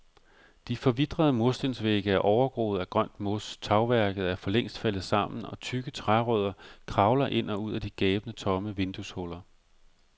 De forvitrede murstensvægge er overgroet af grønt mos, tagværket er forlængst faldet sammen og tykke trærødder kravler ind og ud af de gabende tomme vindueshuller.